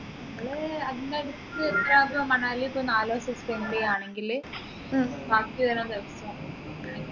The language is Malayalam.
നമ്മള് മണാലി ഇപ്പൊ നാലുദിവസം spend ചെയ്യുവാണെങ്കിൽ ബാക്കി വരുന്ന ദിവസം